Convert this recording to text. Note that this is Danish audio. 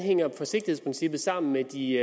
hænger forsigtighedsprincippet sammen med de